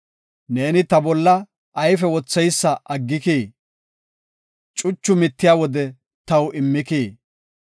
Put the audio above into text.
Ne ta bolla ayfe wotheysa aggikii? Cuchu mittiya wode taw immikii?